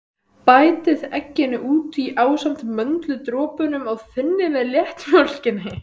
Bætið egginu út í ásamt möndludropunum og þynnið með léttmjólkinni.